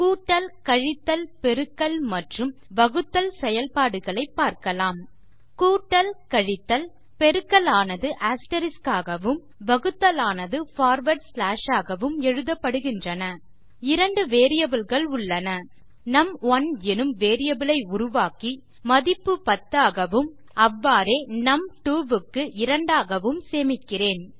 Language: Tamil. கூட்டல் கழித்தல் பெருக்கல் மற்றும் வகுத்தல் செயல்பாடுகளை பார்க்கலாம் கூட்டல் கழித்தல் பெருக்கல் ஆனது அஸ்டெரிஸ்க் ஆகவும் வகுத்தல் ஆனது பார்வார்ட் ஸ்லாஷ் ஆகவும் எழுதப்படுகின்றன 2 வேரியபிள் கள் உள்ளன நும்1 எனும் வேரியபிள் ஐ உருவாக்கி மதிப்பு 10 ஆகவும் அவ்வாறே நும்2 க்கு2 ஆகவும் சேமிக்கிறேன்